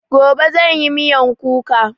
Gobe zanyi miyan kuka